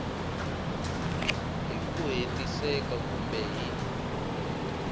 hi ku hetiseka kumbe hi